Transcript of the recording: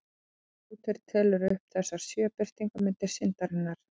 Marteinn Lúther telur upp þessar sjö birtingarmyndir syndarinnar.